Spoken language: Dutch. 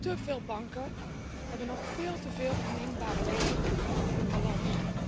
Te veel banken hebben nog veel te veel oninbare leningen op hun balans.